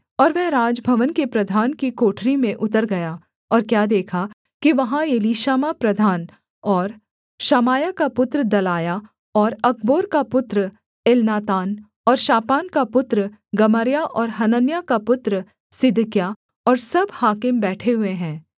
और वह राजभवन के प्रधान की कोठरी में उतर गया और क्या देखा कि वहाँ एलीशामा प्रधान और शमायाह का पुत्र दलायाह और अकबोर का पुत्र एलनातान और शापान का पुत्र गमर्याह और हनन्याह का पुत्र सिदकिय्याह और सब हाकिम बैठे हुए हैं